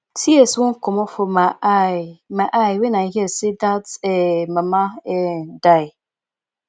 tears wan comot for my eye my eye wen i hear say dat um mama um die